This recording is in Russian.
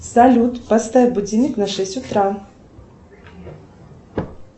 салют поставь будильник на шесть утра